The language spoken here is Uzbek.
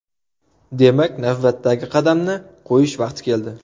Demak, navbatdagi qadamni qo‘yish vaqti keldi.